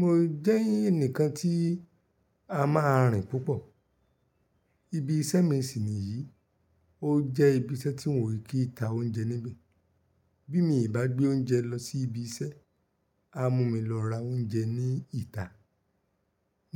Mo jẹ́ ẹnìkan tí a máa rìn púpọ̀. Ibi iṣẹ́ mi sì nìyí, ó jẹ́ ibi iṣẹ́ tí wọn kí í ta oúnjẹ níbẹ̀. Bí mi ò bá gbé oúnjẹ lọ sí ibi iṣẹ́, á mú mi lọ ra oúnjẹ ní ìta.